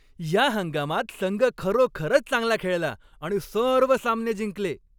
या हंगामात संघ खरोखरच चांगला खेळला आणि सर्व सामने जिंकले.